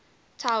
tower did collapse